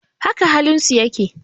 Haka halin su yake.